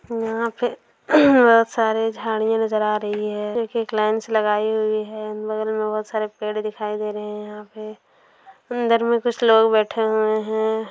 यहाँ पे सारी झाड़ियाँ नजर आ रही है एक एक लाइन से लगायी हुई है बगल में बहुत सारे पेड़ दिखाई दे रहे हैं यहाँ पे अंदर में कुछ लोग बैठ हुए हैं।